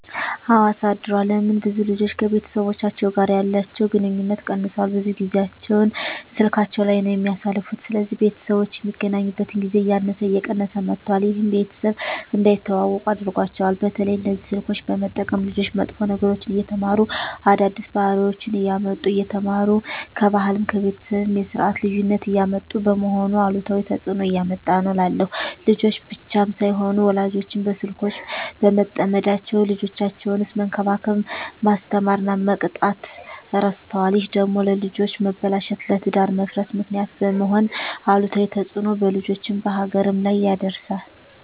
አወ አሳድሯል ለምን ብዙ ልጆች ከቤተሰቦቻቸው ጋር ያለቸዉ ግንኙነት ቀነሷል ብዙ ጊያቸዉን ስላካቸዉ ላይ ነዉ የሚያሳልፉት ስለዚህ ቤተሰቦች የሚገናኙበት ጊዜ እያነሰ እየቀነሰ መጧት ይሄም ቤተሰብ እንዳይተዋወቁ አድርጓቸዋል። በተለይ እነዚህ ስልኮችን በመጠቀም ልጆች መጥፎ ነገሮችን እየተማሩ አዳዲስ ባህሪወችነሰ እያመጡ እየተማሩ ከባህልም ከቤተሰብም የስርት ልዩነት እያመጡ በመሆኑ አሉታዊ ተጽእኖ እያመጣ ነዉ እላለሁ። ልጆች ብቻም ሳይሆኑ ወላጆችም በስልኮች በመጠመዳቸዉ ልጆቻቸዉነሰ መንከባከብ፣ መስተማር እና መቅጣት እረስተዋል ይሄ ደግሞ ለልጆች መበላሸት ለትዳር መፍረስ ምክንያት በመሄን አሉታዊ ተጽእኖ በልጆችም በሀገርም ላይ ያደርሳል።